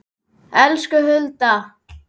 Elsku Hulda.